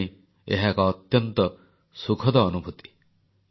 ମୋ ପାଇଁ ଏହା ଏକ ଅତ୍ୟନ୍ତ ସୁଖଦ ଅନୁଭୂତି